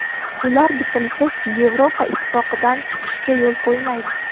Ular bitimsiz Yevropa Ittifoqidan chiqishga yo‘l qo‘ymaydi.